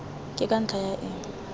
ke ka ntlha ya eng